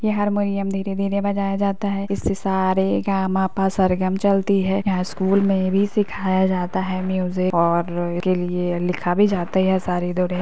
ये हारमोनियम धीरे धीरे बजाया जाता है। इससे सा रे गा मा पा सरगम चलती है। यहाँ स्कूल में भी सिखाया जाता है म्यूजिक और के लिए लिखा भी जाते है। --